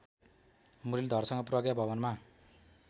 मुरलीधरसँग प्रज्ञा भवनमा